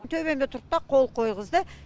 төбемде тұрды да қол қойғызды